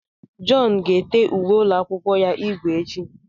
John ga-ete uwe ụlọ akwụkwọ ya ígwè echi.